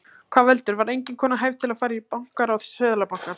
Hvað veldur, var engin kona hæf til að fara í bankaráð Seðlabankans?